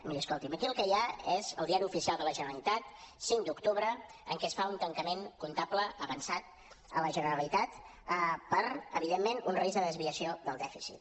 miri escolti’m aquí el que hi ha és el diari oficial de la generalitat cinc d’octubre en què es fa un tancament comptable avançat a la generalitat per evidentment un risc de desviació del dèficit